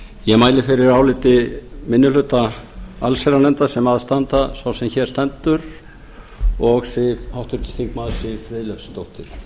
ég mæli fyrir áliti minni hluta allsherjarnefndar sem að standa sá sem hér stendur og háttvirtur þingmaður siv friðleifsdóttir